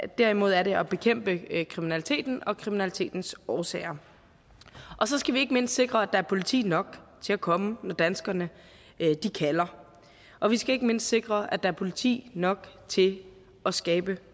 derimod at bekæmpe kriminaliteten og kriminalitetens årsager og så skal vi ikke mindst sikre at der er politi nok til at komme når danskerne kalder og vi skal ikke mindst sikre at der er politi nok til at skabe